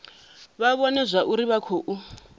vha vhone zwauri vha khou